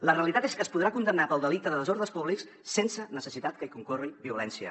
la realitat és que es podrà condemnar pel delicte de desordres públics sense necessitat que hi concorri violència